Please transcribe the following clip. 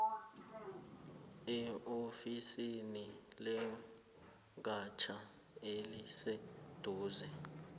eofisini legatja eliseduze